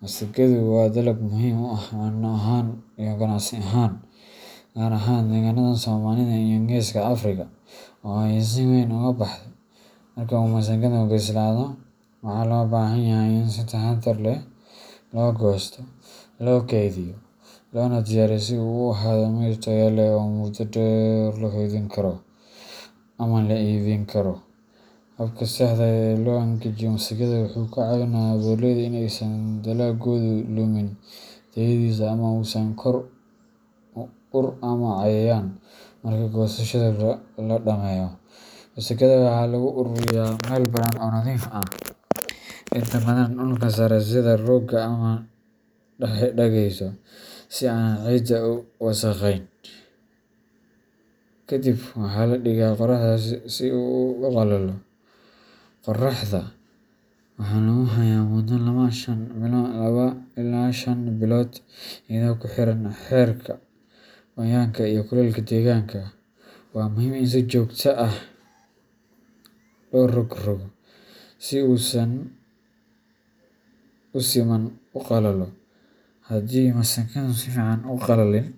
Masagadu waa dalag muhiim u ah cunno ahaan iyo ganacsi ahaan, gaar ahaan deegaannada Soomaalida iyo Geeska Afrika oo ay si weyn uga baxdo. Marka uu masagadu bislaado, waxaa loo baahan yahay in si taxadar leh loo goosto, loo kaydiyo, loona diyaariyo si uu u ahaado mid tayo leh oo muddo dheer la kaydin karo ama la iibin karo. Habka saxda ah ee loo angajiyo masagada wuxuu ka caawinayaa beeraleyda in aysan dalaggoodu lumin tayadiisa ama uusan ka koro ur ama cayayaan. Marka goosashada la dhammeeyo, masagada waxaa lagu ururiyaa meel bannaan oo nadiif ah, inta badanna dhulka sare sida rooga ama dhagaxyo si aanay ciidda u wasakheyn. Kadib, waxaa la dhigaa qorraxda si uu u qalalo. Qoraxda waxaa lagu hayaa muddo laba ilaa shan maalmood iyadoo ku xiran heerka qoyaanka iyo kulaylka deegaanka. Waa muhiim in si joogto ah loo rog roggo si uu si siman u qalalo. Haddii masagadu si fiican u qalalin.